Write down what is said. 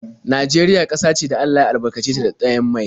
Najeriya ƙasa ce da Allah ya albarkace ta da ɗanyen mai.